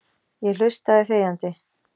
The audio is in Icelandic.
Ég hlustaði þegjandi.